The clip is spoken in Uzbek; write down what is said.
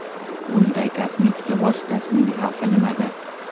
Bunday kosmetika vositasining xavfi nimada?